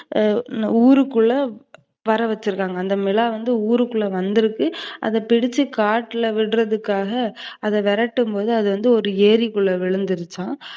அ ஊருக்குள்ள வரவச்சுருக்காங்க. அந்த மிலா வந்து ஊருக்குள்ள வந்துருக்கு, அத பிடிச்சு காட்டுல விடுறதுக்காக அத விரட்டும்போது அதுவந்து ஒரு ஏறிக்குள்ள விழுந்துருச்சாம்.